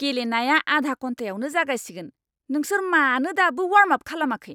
गेलेनाया आधा घन्टायावनो जागायसिगोन। नोंसोर मानो दाबो वार्मआप खालामाखै?